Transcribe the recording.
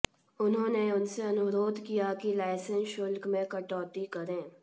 उन्होंने उनसे अनुरोध किया कि लाइसेंस शुल्क में कटौती करें